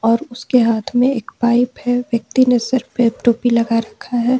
और उसके हाथ में एक पाइप है व्यक्ति नजर पे टोपी लगा रखा है।